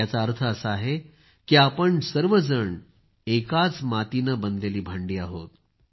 याचा अर्थ असा आहे की आपण सर्वजण एकाच मातीनं बनलेली भांडी आहोत